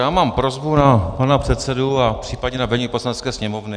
Já mám prosbu na pana předsedu a případně na vedení Poslanecké sněmovny.